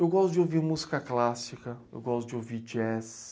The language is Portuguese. Eu gosto de ouvir música clássica, eu gosto de ouvir jazz...